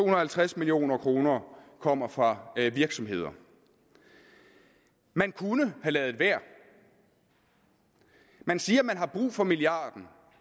og halvtreds million kroner kommer fra virksomhederne man kunne have ladet være man siger at man har brug for milliarden